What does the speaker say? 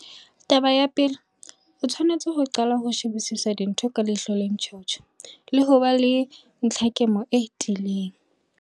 Tabeng ya pele, o tshwanetse ho qala ka ho shebisisa dintho ka ihlo le ntjhotjho, le ho ba le ntlhakemo e tiileng.